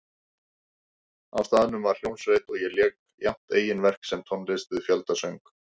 Á staðnum var hljómsveit og lék jafnt eigin verk sem tónlist við fjöldasöng.